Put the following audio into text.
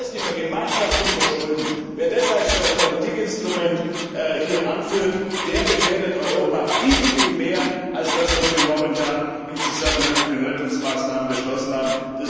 Das heißt die Vergemeinschaftung der Schulden. Wer das hier als Politikinstrument anführt, der gefährdet Europa viel, viel mehr als das, was wir momentan im Zusammenhang mit den Rettungsmaßnahmen beschlossen haben.